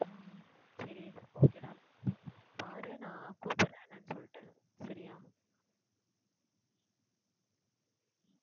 சரி okay டா பாரு நான் கூப்புடுறேன் என்னான்னு சொல்லிட்டு சரியா?